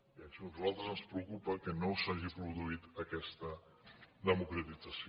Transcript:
i a nosaltres ens preocupa que no s’hagi produït aquest democratització